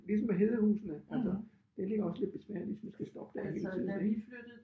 Ligesom med Hedehusene altså det ligger også lidt besværligt hvis man skal stoppe der hele tiden ik